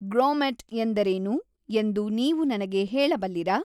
grommet ಎಂದರೇನು ಎಂದು ನೀವು ನನಗೆ ಹೇಳಬಲ್ಲಿರಾ